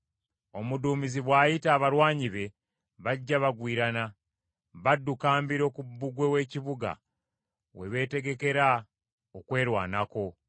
Omuduumizi bw’ayita abalwanyi be bajja bagwirana. Badduka mbiro ku bbugwe w’ekibuga we beetegekera okwerwanako.